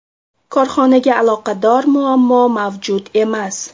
Korxonaga aloqador muammo mavjud emas.